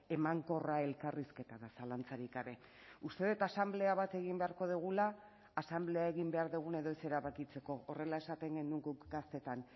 emankorra elkarrizketa da zalantzarik gabe uste dut asanblea bat egin beharko dugula asanblea egin behar dugun edo ez erabakitzeko horrela esaten genuen guk gaztetan